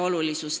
Märt Sults.